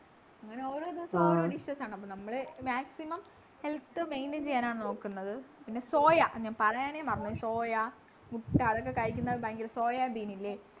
അങ്ങനെ ഓരോ ദിവസം ഓരോ dishes ആണ് അപ്പൊ നമ്മള് maximum health maintain ചെയ്യാനാണ് നോക്കുന്നത് പിന്നെ സോയ ഞാൻ പറയണേ മറന്നു പോയി പിന്നെ സോയ മുട്ട അതൊക്കെ കഴിക്കുന്നത് ഭയങ്കര സോയാബീനില്ലേ